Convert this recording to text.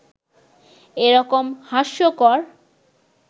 এ রকম হাস্যকর